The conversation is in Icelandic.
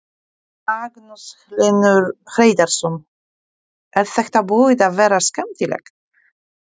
Magnús Hlynur Hreiðarsson: Er þetta búið að vera skemmtilegt?